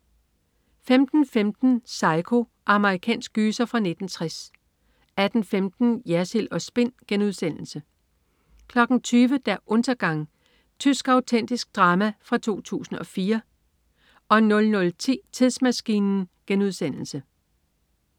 15.15 Psycho. Amerikansk gyser fra 1960 18.15 Jersild & Spin* 20.00 Der Untergang. Tysk autentisk drama fra 2004 00.10 Tidsmaskinen*